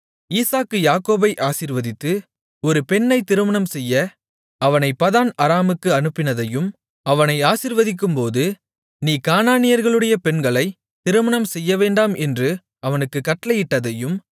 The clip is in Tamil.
ஈசாக்கு யாக்கோபை ஆசீர்வதித்து ஒரு பெண்ணைத் திருமணம் செய்ய அவனைப் பதான் அராமுக்கு அனுப்பினதையும் அவனை ஆசீர்வதிக்கும்போது நீ கானானியர்களுடைய பெண்களைத் திருமணம் செய்யவேண்டாம் என்று அவனுக்குக் கட்டளையிட்டதையும்